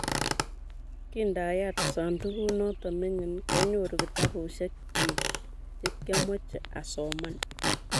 Kindayat sandukut noto mining' kianyoru kitabushiek chik che kiamoche asoman